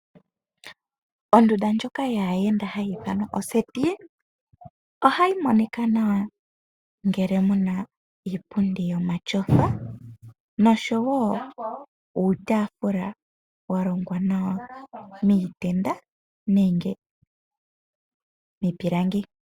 Ondunda ndjoka yaayenda hayi ithanwa oseti, ohayi monika nawa ngele muna iipundi yomatyofa nosho wo uutaafula wa longwa nawa miitenda nenge miipilangi.